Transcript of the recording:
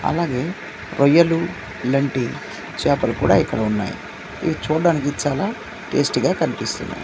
అలాగే రొయ్యలు ఇలాంటి చేపలు కూడా ఇక్కడ ఉన్నాయి ఇవి చూడడానికి చాలా టేస్టీ గా కనిపిస్తున్నాయి.